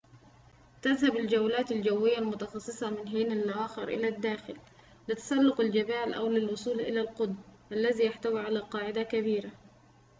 تذهب الجولات الجوية المتخصّصة من حينٍ لآخر إلى الداخل لتسلّق الجبال أو للوصول إلى القطب الذي يحتوي على قاعدةٍ كبيرةٍ